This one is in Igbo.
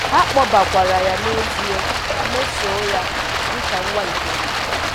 Ha kpọbakwara ya n’ezie ma mesoo ya dị ka nwa nke ha.